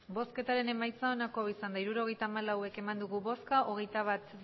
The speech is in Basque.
emandako botoak hirurogeita hamalau bai hogeita bat